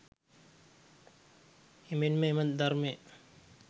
එමෙන්ම එම ධර්මය